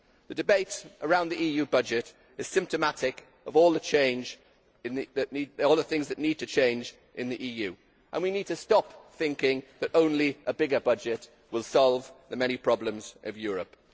The debate around the EU budget is symptomatic of all the things that need to change in the EU, and we need to stop thinking that only a bigger budget will solve the many problems of Europe.